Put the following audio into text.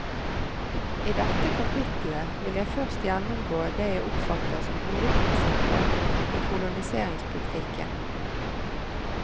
I dette kapittelet vil jeg først gjennomgå det jeg oppfatter som hovedprinsipper i koloniseringspolitikken.